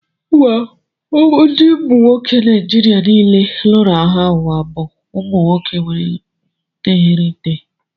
Ndị umu nwoke Nijiria niile lụrụ agha ụwa bụ umu nwoke nwere ntégriiti